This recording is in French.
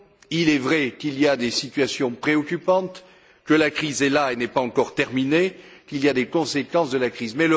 il est vrai qu'il y a des situations préoccupantes, que la crise est là et n'est pas encore terminée, qu'il y a des conséquences de la crise.